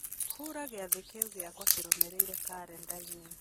hura gĩathĩ kĩu gĩakwa kĩrũmĩrĩire karenda-inĩ